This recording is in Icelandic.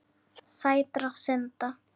Sætra synda.